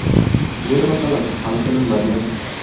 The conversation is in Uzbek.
Yer masalasi hal qilinmagan.